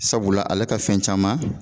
Sabula ale ka fɛn caman